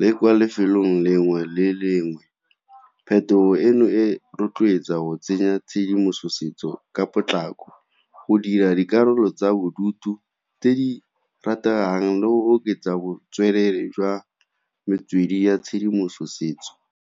le kwa lefelong le lengwe le lengwe. Phetogo eno e rotloetsa go tsenya tshedimosetso ka potlako go dira dikarolo tsa bodutu tse di rategang le go oketsa botswerere jwa metswedi ya tshedimosetso.